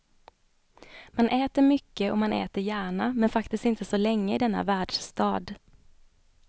Man äter mycket och man äter gärna, men faktiskt inte så länge i denna världsstad.